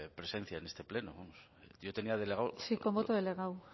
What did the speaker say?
presencia en este pleno yo tenía delegado sí con voto delegado